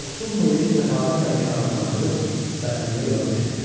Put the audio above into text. Dostum Muleni səxavətlə mükafatlandırıb vətənimə yola düşdüm.